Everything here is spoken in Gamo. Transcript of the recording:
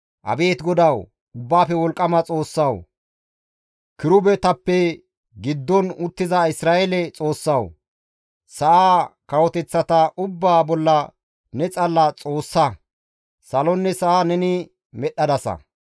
«Abeet GODAWU, Ubbaafe Wolqqama Xoossawu, kirubetappe giddon uttiza Isra7eele Xoossawu, sa7aa kawoteththata ubbaa bolla ne xalla Xoossaa. Salonne sa7a neni medhdhadasa.